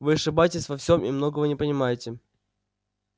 вы ошибаетесь во всём и многого не понимаете